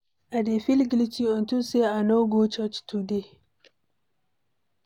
I dey feel guilty unto say I no go church today